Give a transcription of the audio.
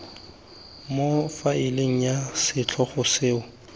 mo faeleng ya setlhogo seo